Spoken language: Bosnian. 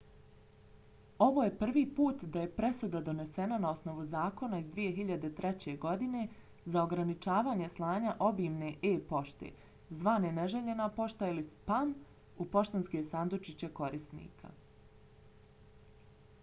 ovo je prvi put da je presuda donesena na osnovu zakona iz 2003. godine za ograničavanje slanja obimne e-pošte zvane neželjena pošta ili spam u poštanske sandučiće korisnika